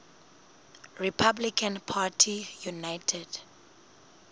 republican party united